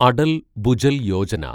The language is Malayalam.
അടൽ ഭുജൽ യോജന